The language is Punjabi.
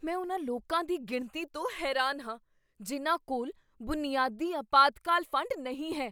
ਮੈਂ ਉਨ੍ਹਾਂ ਲੋਕਾਂ ਦੀ ਗਿਣਤੀ ਤੋਂ ਹੈਰਾਨ ਹਾਂ ਜਿਨ੍ਹਾਂ ਕੋਲ ਬੁਨਿਆਦੀ ਅਪਾਤਕਾਲ ਫੰਡ ਨਹੀਂ ਹੈ।